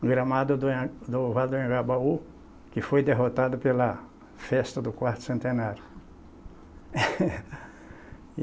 gramado do nha do Vale Anhagabaú, que foi derrotado pela festa do quarto centenário.